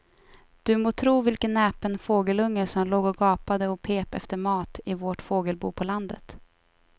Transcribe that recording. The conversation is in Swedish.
Du må tro vilken näpen fågelunge som låg och gapade och pep efter mat i vårt fågelbo på landet.